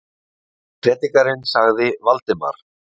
Prédikarinn sagði Valdimar.